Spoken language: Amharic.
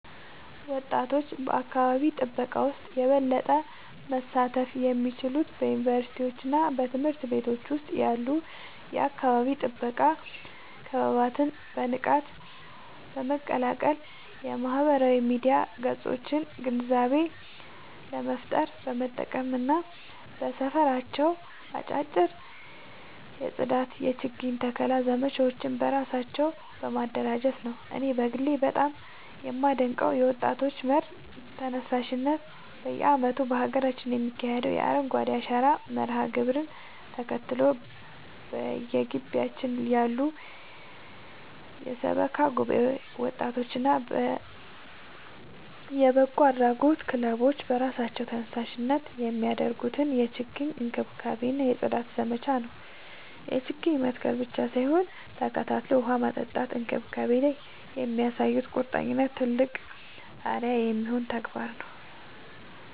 ወጣቶች በአካባቢ ጥበቃ ውስጥ የበለጠ መሳተፍ የሚችሉት በዩኒቨርሲቲዎችና በትምህርት ቤቶች ውስጥ ያሉ የአካባቢ ጥበቃ ክበባትን በንቃት በመቀላቀል፣ የማህበራዊ ሚዲያ ገጾቻቸውን ግንዛቤ ለመፍጠር በመጠቀም እና በየሰፈራቸው አጫጭር የጽዳትና የችግኝ ተከላ ዘመቻዎችን በራሳቸው በማደራጀት ነው። እኔ በግሌ በጣም የማደንቀው የወጣቶች መር ተነሳሽነት በየዓመቱ በሀገራችን የሚካሄደውን የአረንጓዴ አሻራ መርሃ ግብርን ተከትሎ፣ በየግቢያችን ያሉ የሰበካ ጉባኤ ወጣቶችና የበጎ አድራጎት ክለቦች በራሳቸው ተነሳሽነት የሚያደርጉትን የችግኝ እንክብካቤና የጽዳት ዘመቻ ነው። ችግኝ መትከል ብቻ ሳይሆን ተከታትሎ ውሃ ማጠጣትና መንከባከብ ላይ የሚያሳዩት ቁርጠኝነት ትልቅ አርአያ የሚሆን ተግባር ነው።